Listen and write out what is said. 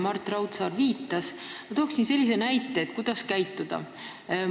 Ma toon ühe näite ja küsin, kuidas käituda.